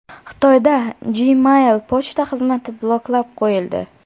Xitoyda Gmail pochta xizmati bloklab qo‘yildi.